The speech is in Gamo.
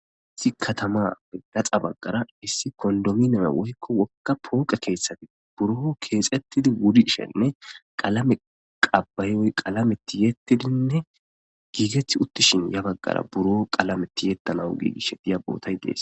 Issi katama gaxa baggara issi kondomineme woyko wogga pooqe keethati buro keexetidi wurishenne qalame qaba'i woyko qalame tiyettidinne giigetti uttishin ya baggara buro qalame tiyetanaw giigishe diya bootay dees.